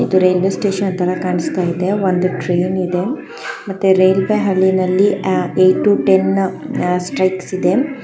ಇದು railway station ಥರಾ ಕಾಣಿಸ್ತಾ ಇದೆ. ಒಂದು ಟ್ರೈನ್ ಇದೆ ಮತ್ತೆ ರೈಲ್ವೆ ಹಳಿನಲ್ಲಿ ಆ ಏಟ್ ಟು ಟೆನ್ ಆ ಸ್ಟ್ರೈಕ್ಸ್ ಇದೆ.